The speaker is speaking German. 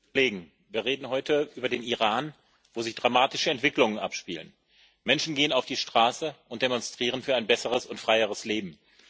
Frau Präsidentin! Wir reden heute über den Iran, wo sich dramatische Entwicklungen abspielen. Menschen gehen auf die Straße und demonstrieren für ein besseres und freieres Leben.